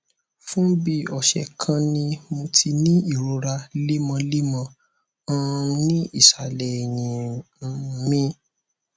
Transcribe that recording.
fún bí ọsẹ kan ni mo ti ń ní ìrora lemọlemọ um ní ìsàlẹ èyìn um mi